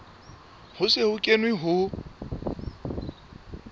ho se ho kenwe ho